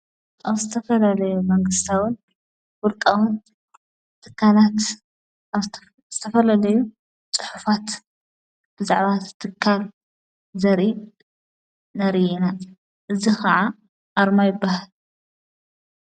ኣብ ስተፈለለዩ መንግሥታዉን ብርቃዉን ትካናት እስተፈለለዩ ጽሑፋት ብዛዕባት ትካል ዘሪብ ነርይና እዝ ኸዓ ኣርማይበህል።